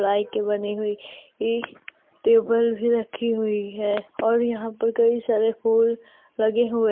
पलाई की बनी हुई टेबल भी रखी हुई है और यहां पर कई सारे फूल लगे हुए है।